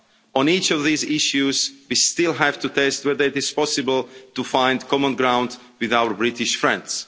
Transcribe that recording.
On each of these issues, we still have to test whether it is possible to find common ground with our British friends.